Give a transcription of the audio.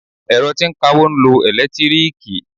Ẹ̀rọ tí ń kawó ń lo ẹ̀lẹ́tíríìkì.